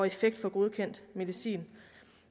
effekt for godkendt medicin